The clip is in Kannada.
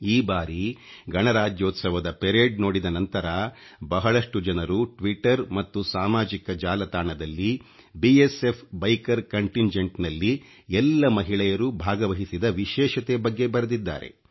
ಈ ಬಾರಿ ಗಣರಾಜ್ಯೋತ್ಸವದ ಪೆರೇಡ್ ನೋಡಿದ ನಂತರ ಬಹಳಷ್ಟು ಜನರು ಟ್ವಿಟ್ಟರ್ ಮತ್ತು ಸಾಮಾಜಿಕ ಜಾಲತಾಣದಲ್ಲಿ ಃSಈ ಃiಞeಡಿ ಅoಟಿಣiಟಿgeಟಿಣ ನಲ್ಲಿ ಎಲ್ಲ ಮಹಿಳೆಯರು ಭಾಗವಹಿಸಿದ ವಿಶೇಷತೆ ಬಗ್ಗೆ ಬರೆದಿದ್ದಾರೆ